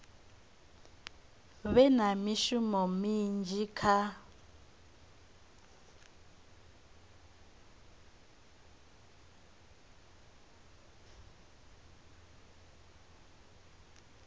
vhe na mushumo munzhi kha